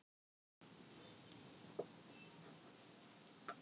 Að hún treystir honum fullkomlega.